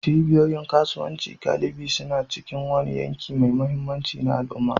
Cibiyoyin kasuwanci galibi suna cikin wani yanki mai mahimmanci na al'umma.